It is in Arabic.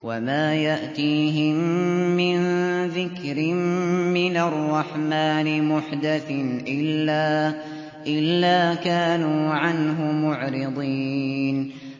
وَمَا يَأْتِيهِم مِّن ذِكْرٍ مِّنَ الرَّحْمَٰنِ مُحْدَثٍ إِلَّا كَانُوا عَنْهُ مُعْرِضِينَ